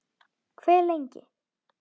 Hve lengi?